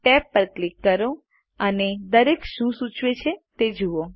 tabs પર click કરો અને દરેક શું સૂચવે છે તે જુઓ